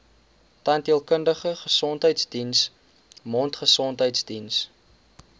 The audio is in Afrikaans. tandheelkundige gesondheidsdiens mondgesondheidsdiens